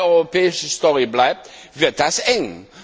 Wenn das eine rein europäische Story bleibt, wird es eng.